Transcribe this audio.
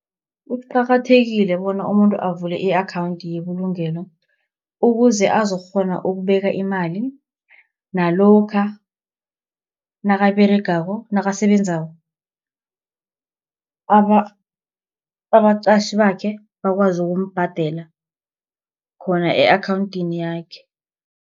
Kuqakathekile bona umuntu avule i-akhawunthi yebulugelo, ukuze azokukghona ukubeka imali, nalokha nakasebenzako abaqatjhi bakhe bakwazi ukumbhadela khona e-akhawunthini yakhe.